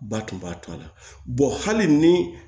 Ba tun b'a to a la hali ni